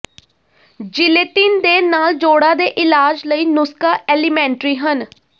gelatine ਦੇ ਨਾਲ ਜੋੜਾਂ ਦੇ ਇਲਾਜ ਲਈ ਨੁਸਖ਼ਾ ਐਲੀਮੈਂਟਰੀ ਹਨ